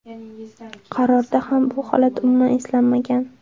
Qarorda ham bu holat umuman eslanmagan.